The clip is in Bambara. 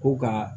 Ko ka